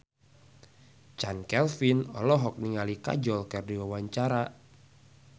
Chand Kelvin olohok ningali Kajol keur diwawancara